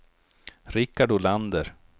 Rickard Olander